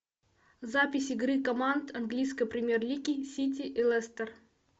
запись игры команд английской премьер лиги сити и лестер